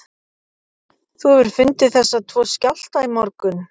Þú hefur fundið þessa tvo skjálfta í morgun?